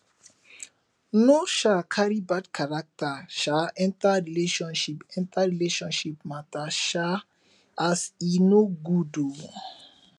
no um cari bad carakta um enta relationship enta relationship mata um as e no good o